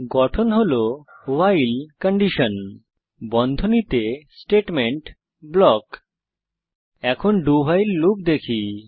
গঠন হল ভাইল বন্ধনীতে স্টেটমেন্ট ব্লক এখন dowhile লুপ দেখি